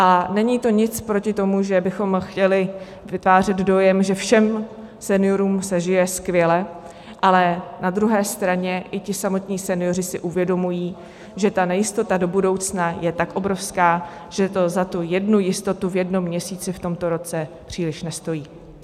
A není to nic proti tomu, že bychom chtěli vytvářet dojem, že všem seniorům se žije skvěle, ale na druhé straně i ti samotní senioři si uvědomují, že ta nejistota do budoucna je tak obrovská, že to za tu jednu jistotu v jednom měsíci v tomto roce příliš nestojí.